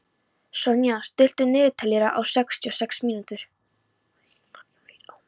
Sonja, stilltu niðurteljara á sextíu og sex mínútur.